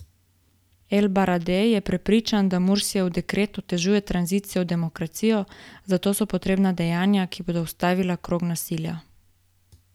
El Baradej je prepričan, da Mursijev dekret otežuje tranzicijo v demokracijo, zato so potrebna dejanja, ki bodo ustavila krog nasilja.